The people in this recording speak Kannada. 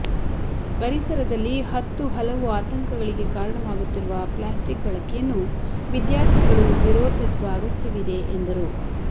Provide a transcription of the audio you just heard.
ಪರಿಸರದಲ್ಲಿ ಹತ್ತು ಹಲವು ಆತಂಕಗಳಿಗೆ ಕಾರಣವಾಗುತ್ತಿರುವ ಪ್ಲಾಸ್ಟಿಕ್ ಬಳಕೆಯನ್ನು ವಿದ್ಯಾರ್ಥಿಗಳು ವಿರೋಧಿಸುವ ಅಗತ್ಯವಿದೆ ಎಂದರು